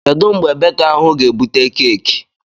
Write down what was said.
Kedụ mgbe beka ahụ ga-ebute keeki?